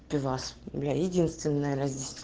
пивас бля единственное разде